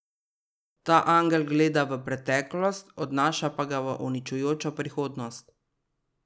Ta angel gleda v preteklost, odnaša pa ga v uničujočo prihodnost.